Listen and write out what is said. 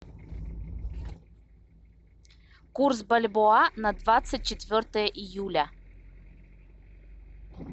курс бальбоа на двадцать четвертое июля